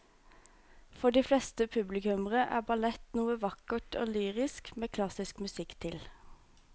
For de fleste publikummere er ballett noe vakkert og lyrisk med klassisk musikk til.